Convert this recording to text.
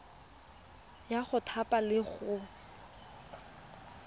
ya go thapa le go